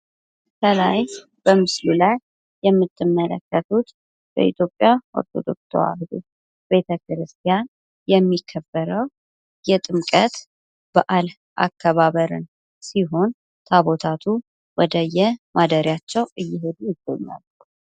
ከላይ በምስሉ ላይ የምትመለከቱት በኢትዮጵያ ኦርቶዶክስ ተዋህዶ ቤተክርስቲያን የሚከበረው የጥምቀት በዓል አከባበርን ሲሆን ታቦታቱ ወደዬ ማደሪያቸው እየሄዱ ይገኛሉ።